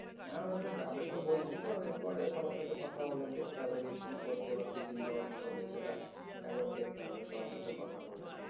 হ্যাঁ ওরা তো যাবে তো বলছিলো পরে সবার সাথে কথা বলে দেখতে হবে যে কী করছে বা কী চিন্তা ভাবনা করছে সেটা একবার দেখতে হবে সবার সাথে কথা বলে।